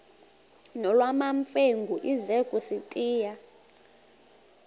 nolwamamfengu ize kusitiya